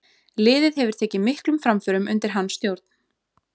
Liðið hefur tekið miklum framförum undir hans stjórn.